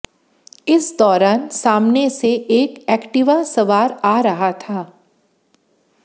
इस दौरान सामने से एक एक्टिवा सवार आ रहा था